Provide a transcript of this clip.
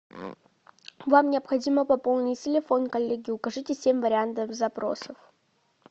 вам необходимо пополнить телефон коллеги укажите семь вариантов запроса